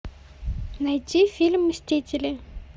найти фильм мстители